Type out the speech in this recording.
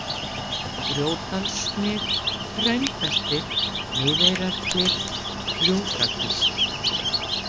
Grjótdalssnið, Hraunbeltið, Miðeyrarklif, Gljúfrakvísl